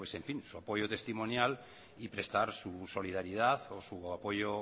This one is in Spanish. su apoyo testimonial y prestar su solidaridad o su apoyo